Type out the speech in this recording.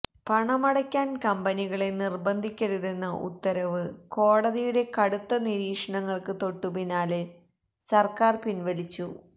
പണമടയ്ക്കാൻ കമ്പനികളെ നിർബന്ധിക്കരുതെന്ന ഉത്തരവ് കോടതിയുടെ കടുത്ത നിരീക്ഷണങ്ങൾക്കു തൊട്ടു പിന്നാലെ സർക്കാർ പിൻവലിച്ചു